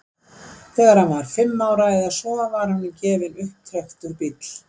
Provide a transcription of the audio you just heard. þegar hann var fimm ára eða svo var honum gefinn upptrekktur bíll